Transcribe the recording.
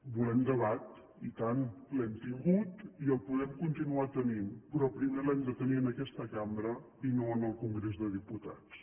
volem debat i tant l’hem tingut i el podem continuar tenint però primer l’hem de tenir en aquesta cambra i no en el congrés dels diputats